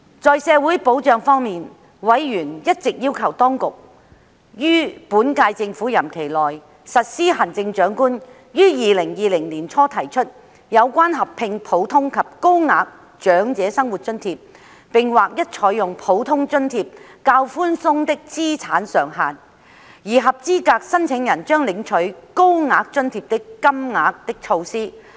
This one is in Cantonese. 在社會保障方面，委員一直要求政府當局於本屆政府任期內實施行政長官於2020年年初提出的措施，合併普通及高額長者生活津貼並劃一採用普通津貼較寬鬆的資產上限，而合資格申請人將領取高額津貼的金額。